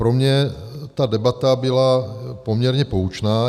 Pro mě ta debata byla poměrně poučná.